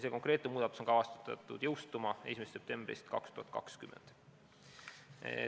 See konkreetne muudatus on kavandatud jõustuma 1. septembril 2020.